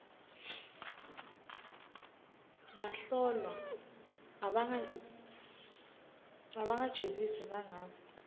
bahlolwa abangajeziswa nangabe